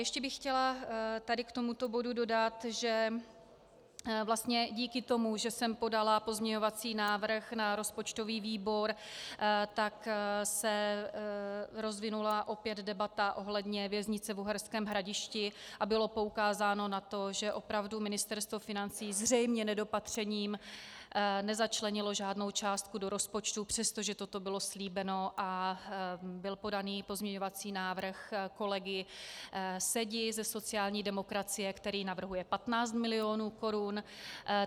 Ještě bych chtěla tady k tomuto bodu dodat, že vlastně díky tomu, že jsem podala pozměňovací návrh na rozpočtový výbor, tak se rozvinula opět debata ohledně věznice v Uherském Hradišti a bylo poukázáno na to, že opravdu Ministerstvo financí zřejmě nedopatřením nezačlenilo žádnou částku do rozpočtu, přestože toto bylo slíbeno a byl podaný pozměňovací návrh kolegy Sedi ze sociální demokracie, který navrhuje 15 mil. korun.